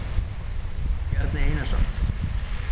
Bjarni Einarsson.